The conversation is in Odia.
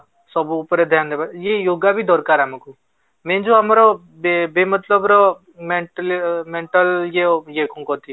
ସବୁ ଉପରେ ଧ୍ୟାନ ଦେବା ଇଏ yoga ବି ଦରକାର ଆମକୁ main ଯୋଉ ଆମର ର mentally mental ଇଏ ଇଏ କୁ କଣ କହନ୍ତି ?